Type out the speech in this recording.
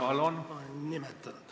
Palun!